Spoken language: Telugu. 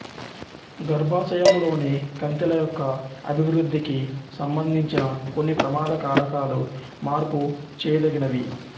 గర్భాశయంలోని కంతిల యొక్క అభివృద్ధికి సంబంధించిన కొన్ని ప్రమాద కారకాలు మార్పు చేయదగినవి